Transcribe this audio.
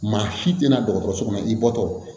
Maa si tɛna dɔgɔtɔrɔso kɔnɔ i bɔtɔ